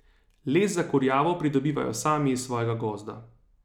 Les za kurjavo pridobivajo sami iz svojega gozda.